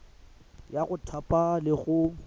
ya go thapa le go